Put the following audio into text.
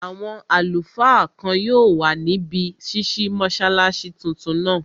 Àwọn àlùfáà kan yóò wà níbi ṣísí mọ́sálásí tuntun náà